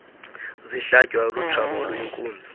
zihlatywayo lutshaba oluyinkunzi